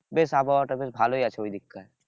বেশ আবহাওয়াটা বেশ ভালই আছে ওই দিককার